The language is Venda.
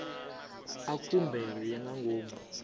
a khumbelo ya nga ngomu